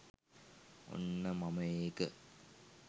ඔන්න මම ඒක